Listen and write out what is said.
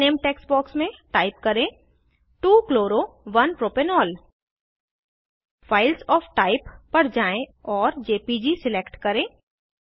file name text box में type करें 2 chloro 1 propanol files of type पर जाएँ और जेपीजी सिलेक्ट करें